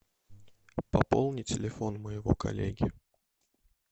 пополни телефон моего коллеги